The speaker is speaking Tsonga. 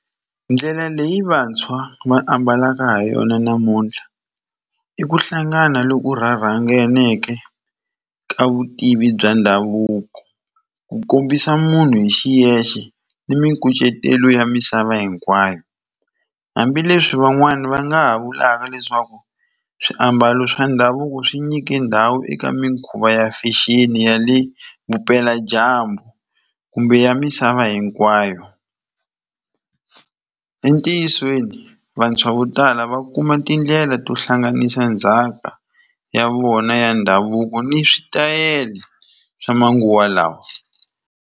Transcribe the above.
Ndlela leyi vantshwa va ambalaka ha yona namuntlha i ku hlangana loko rha rhanganeke ka vutivi bya ndhavuko ku kombisa munhu hi xiyexe ni mikucetelo ya misava hinkwayo hambileswi van'wani va nga ha vulaka leswaku swiambalo swa ndhavuko swi nyike ndhawu eka mikhuva fashion ya le vupeladyambu kumbe ya misava hinkwayo entiyisweni vantshwa vo tala va kuma tindlela to hlanganisa ndzhaka ya vona ya ndhavuko ni switayele swa manguva lawa.